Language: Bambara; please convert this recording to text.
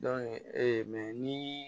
ee ni